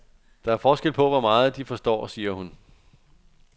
Der er forskel på, hvor meget de forstår, siger hun.